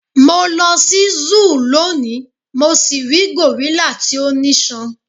mo lọ si Zoo loni mo si ri gorilla ti o niṣan